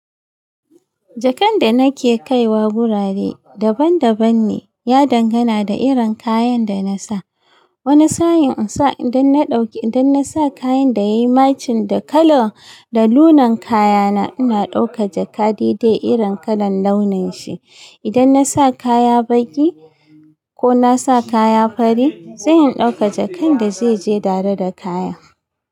Jakan da nake kaiwa gurare daban daban ne. Ya dangana da irin kayan da na sa. Wani sa'in in sa idan na ɗauke idan na sa kayan da yayi maching da kala da launin kayana ina dauka jaka daidai irin kalan launin shi. Idan na sa kaya baƙi ko na sa kaya fari sai in dauka jakan da zai je tare da kaya.